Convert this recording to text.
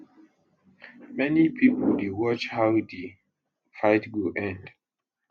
many pipo dey watch how di fight go end